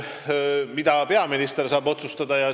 Mida peaminister saab otsustada?